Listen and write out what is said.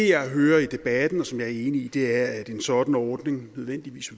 jeg hører i debatten og som jeg er enig i er at en sådan ordning nødvendigvis